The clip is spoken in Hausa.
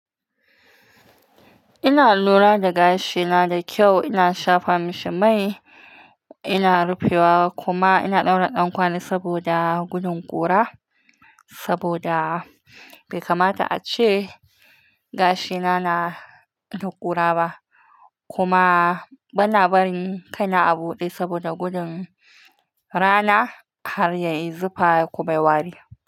Ina lura da gashina da kyau, ina shafa mashi mai, ina rufe wa kuma ina ɗaura ɗan ƙwali saboda gudun ƙura. Saboda bai kamata a ce gashina na da ƙura ba. Kuma bana barin kaina a buɗe saboda gudun rana har yayi zufa ko mai wari.